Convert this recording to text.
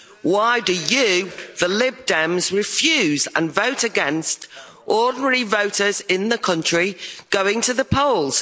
Why do you, the Lib Dems, refuse and vote against ordinary voters in the country going to the polls?